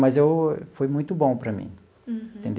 Mas eu foi muito bom para mim. Uhum.